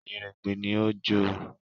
“Yèrèpè” ni ó jó o.